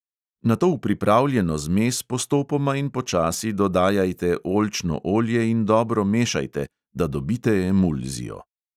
Nato v pripravljeno zmes postopoma in počasi dodajajte oljčno olje in dobro mešajte, da dobite emulzijo.